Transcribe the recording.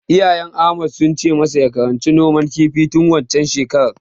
Iyayen Ahmad sun ce masa ya karanci noman kifi tun waccen shekarar.